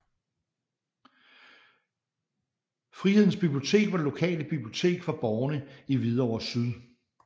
Frihedens Bibliotek var det lokale bibliotek for borgere i Hvidovre Syd